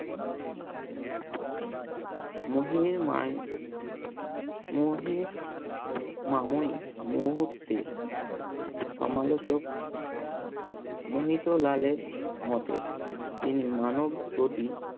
মহির মাময়ী মুহূর্তে সমালোচক মোহিতলালের মতে তিনি মানব প্রতি